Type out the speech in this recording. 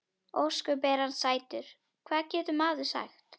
Ósköp er hann sætur, hvað getur maður sagt.